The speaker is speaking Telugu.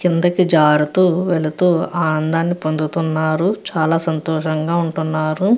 కిందకి జారుతూ వెళుతూ ఆనందాన్ని పొందుతున్నారు. చాలా సంతోషంగా ఉంటున్నారు.